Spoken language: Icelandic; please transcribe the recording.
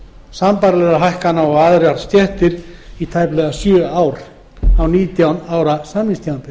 sambærilegra hækkana og aðrir stéttir í tæplega sjö ár á nítján ára samningstímabili